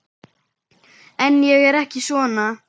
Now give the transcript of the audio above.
En ég er ekki svona.